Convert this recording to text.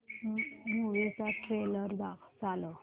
movie चा trailer चालव